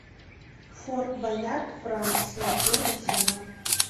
форт боярд франция первый сезон